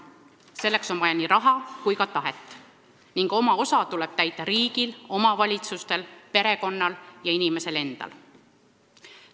Selleks on vaja nii raha kui ka tahet ning oma osa tuleb täita riigil, omavalitsustel, perekonnal ja inimesel endal.